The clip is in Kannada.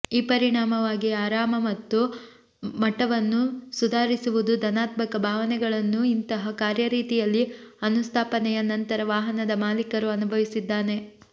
ಈ ಪರಿಣಾಮವಾಗಿ ಆರಾಮ ಮತ್ತು ಮಟ್ಟವನ್ನು ಸುಧಾರಿಸುವುದು ಧನಾತ್ಮಕ ಭಾವನೆಗಳನ್ನು ಇಂತಹ ಕಾರ್ಯರೀತಿಯಲ್ಲಿ ಅನುಸ್ಥಾಪನೆಯ ನಂತರ ವಾಹನದ ಮಾಲೀಕರು ಅನುಭವಿಸಿದ್ದಾನೆ